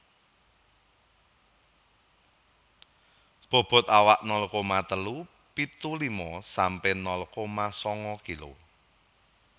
Bobot awak nol koma telu pitu lima sampe nol koma sanga kilo